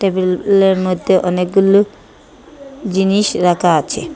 টেবিলের মধ্যে অনেক গুলু জিনিস রাখা আছে।